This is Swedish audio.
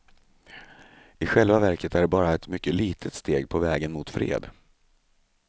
I själva verket är det bara ett mycket litet steg på vägen mot fred.